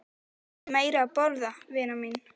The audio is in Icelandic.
Viltu meira að borða, vina mín